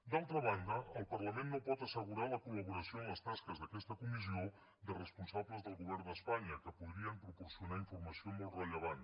d’altra banda el parlament no pot assegurar la collaboració en les tasques d’aquesta comissió de responsables del govern d’espanya que podrien proporcionar informació molt rellevant